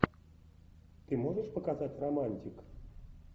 ты можешь показать романтик